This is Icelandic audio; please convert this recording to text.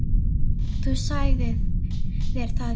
Þú sagðir það í gær.